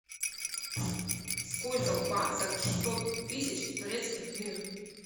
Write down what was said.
сколько в баксах шестьсот тысяч турецких лир